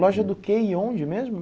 Loja do que e onde mesmo?